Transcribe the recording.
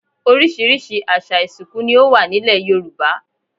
Oríṣiríṣi àṣà ìsìnkú ni o wa nilẹ̀ Yoruba